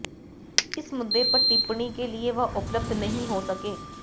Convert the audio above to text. इस मुद्दे पर टिप्पणी के लिए वह उपलब्ध नहीं हो सके